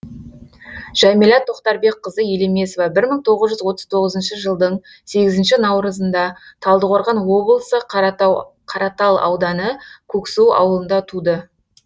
жәмилә тоқтарбекқызы елемесова мың тоғыз жүз отыз тоғызыншы жылдың сегізінші наурызында талдықорған облысы қаратал ауданы көксу ауылында туды